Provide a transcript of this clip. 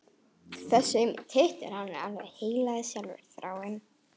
Þessi aumi tittur er hans heilagleiki sjálfur: Þráinn!